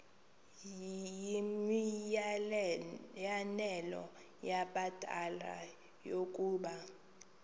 yimianelo yabadala yokaba